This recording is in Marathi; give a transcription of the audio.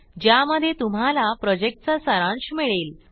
ज्यामध्ये तुम्हाला प्रॉजेक्टचा सारांश मिळेल